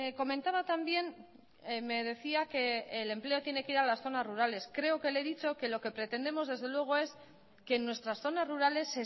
comentaba también me decía que el empleo tiene que ir a las zonas rurales creo que le he dicho que lo que pretendemos desde luego es que en nuestras zonas rurales